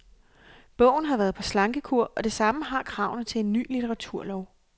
Bogen har været på slankekur, og det samme har kravene til en ny litteraturlov.